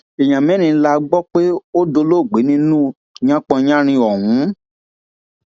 èèyàn mẹrin la gbọ pé ó dolóògbé nínú yánpọnyánrin ọhún